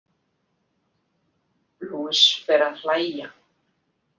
Luis fer að hlæja.